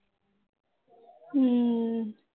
ਹਮ